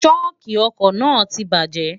ṣóòkì ọkọ̀ náà ti bajẹ́